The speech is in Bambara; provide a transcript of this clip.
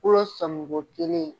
Kolo sɔmi ko kelen,